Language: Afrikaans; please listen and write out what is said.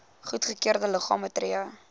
goedgekeurde liggame tree